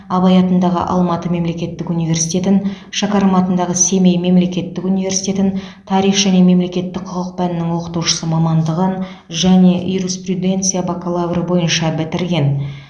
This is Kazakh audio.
абай атындағы алматы мемлекеттік университетін шәкәрім атындағы семей мемлекеттік университетін тарих және мемлекеттік құқық пәнінің оқытушысы мамандығы және юриспруденция бакалавры бойынша бітірген